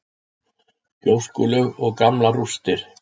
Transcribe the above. Gjóskulög og gamlar rústir.